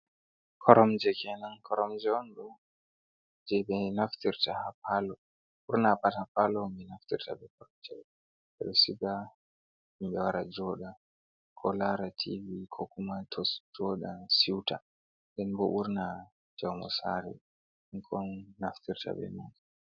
Koromje kenan, koromje on ɗo jei ɓe naftira ha palo ɓurna pat ha palo on ɓe naftirta bei koromje ɗo ɓeɗo siga himɓe wara jooɗa ko lara Tivi ko kuma joɗa siuta den bo ɓurna fu jaumu sare on naftirta bei mai.